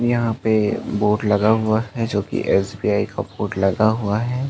यहाँ पे बोर्ड लगा हुआ है जो कि एस_बी_आई का बोर्ड लगा हुआ है।